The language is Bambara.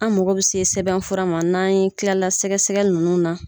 An mago bɛ se sɛbɛn fura ma n'an ye kila la sɛgɛ sɛgɛli ninnu na.